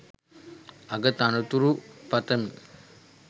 අග තනතුරු පතමි.